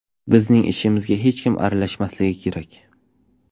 Bizning ishimizga hech kim aralashmasligi kerak.